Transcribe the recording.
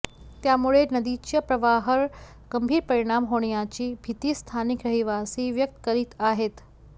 त्यामुळे नदीच्या प्रवाहावर गंभीर परिणाम होण्याची भीती स्थानिक रहिवासी व्यक्त करीत आहेत